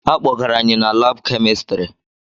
Akpọgara anyị na laabụ kemistiri.